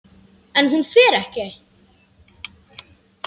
En hún fer ekki.